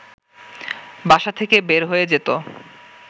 বাসা থেকে বের হয়ে যেতো